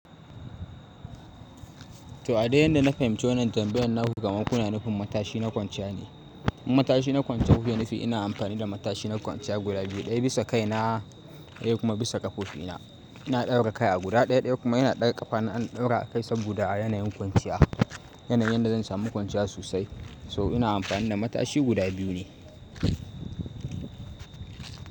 To, a dai yanda na fahimci wannan tambayan naku, kamar kuna nufin matashi na kwanciya ne. Matashi na kwanciya, wufe nufi ina amfani da matashi na kwanciya guda biyu, ɗaya bisa kaina, ɗaya kuma bisa ƙafofina. Ina ɗaura kai a guda ɗaya, ɗaya kuma ina daga kafana na ɗaura akai saboda yanayin kwanciya. Yanayin da zan sami kwanciya sosai. So ina amfani da matashi guda biyu ne.